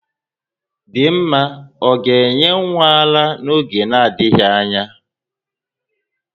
Dinma ọ ga-enye nwa ya ara n'oge na-adịghị anya?